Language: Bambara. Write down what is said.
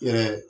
Yɛrɛ